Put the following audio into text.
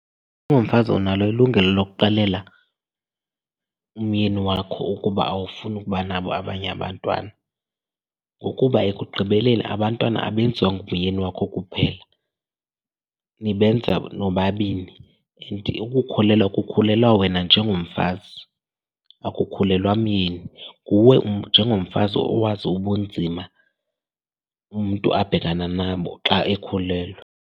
Ungumfazi unalo ilungelo lokuxelela umyeni wakho ukuba awufuni ukuba nabo abanye abantwana ngokuba ekugqibeleni abantwana abenziwa ngumyeni wakho kuphela, nibenza nobabini. And ukukhulelwa kukhulelwa wena njengomfazi, akukhulelwa myeni. Nguwe njengomfazi owazi ubunzima umntu abhekana nabo xa ekhulelwe.